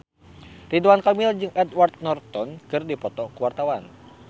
Ridwan Kamil jeung Edward Norton keur dipoto ku wartawan